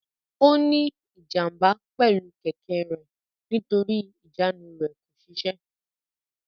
Ó ní ìjàm̀bá pẹ̀lú kẹ̀kẹ́ rẹ̀ nítorí ìjánu rẹ̀ kò ṣiṣẹ́.